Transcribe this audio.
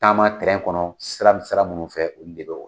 Taama kɔnɔ sira mun sira munnu fɛ, olu de be o